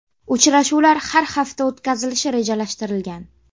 Uchrashuvlar har hafta o‘tkazilishi rejalashtirilgan.